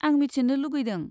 आं मिथिनो लुगैदों।